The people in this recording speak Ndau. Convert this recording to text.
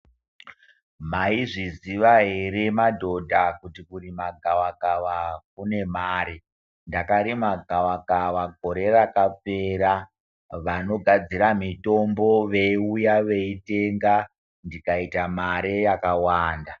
Maizviziva hre madhodha kuti kurima gavakava kune mare . Ndakarima gavakava gore rakapera vanogadzira mitombo veiuya veitenga ndikaita mare yakawanda.